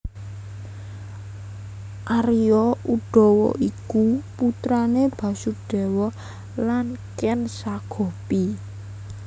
Arya Udawa iku putrane Basudewa lan Ken Sagopi